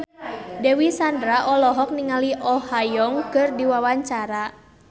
Dewi Sandra olohok ningali Oh Ha Young keur diwawancara